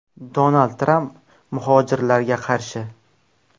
Donald Tramp muhojirlarga qarshi.